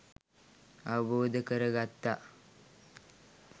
අවබෝධ කර ගත්තා